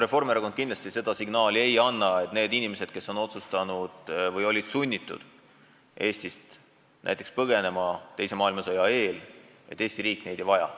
Reformierakond kindlasti ei anna signaali, et neid inimesi, kes olid sunnitud teise maailmasõja eel Eestist põgenema, Eesti riik ei vaja.